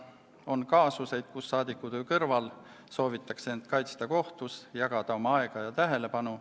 On kaasuseid, kus saadikutöö kõrval soovitakse end kaitsta kohtus, jagada oma aega ja tähelepanu.